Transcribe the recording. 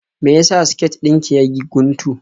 Me ya sa siket din ki ya yi guntu?